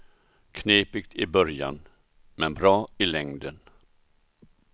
Knepigt i början, men bra i längden.